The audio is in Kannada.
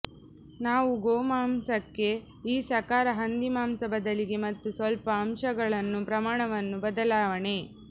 ನಾವು ಗೋಮಾಂಸಕ್ಕೆ ಈ ಸಾಕಾರ ಹಂದಿಮಾಂಸ ಬದಲಿಗೆ ಮತ್ತು ಸ್ವಲ್ಪ ಅಂಶಗಳನ್ನು ಪ್ರಮಾಣವನ್ನು ಬದಲಾವಣೆ